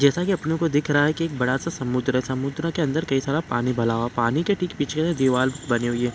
जैसा की अपनो को दिख रहा है एक बड़ा सा समुद्र है समुद्र के अंदर कई सारा पानी भला हुआ है पानी के ठीक पीछे से दिवाल बनी हुई है।